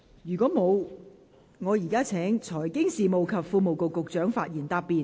如果沒有，我現在請財經事務及庫務局局長發言答辯。